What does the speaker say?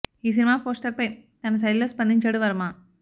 ఈ cinema poster పై తన శైలి లో స్పందించాడు వర్మ